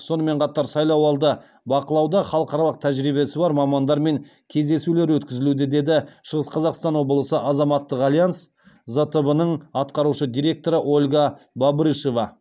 сонымен қатар сайлауды бақылауда халықаралық тәжірибесі бар мамандармен кездесулер өткізілуде деді шығыс қазақстан облысы азаматтық альянс зтб ның атқарушы директоры ольга бобрышева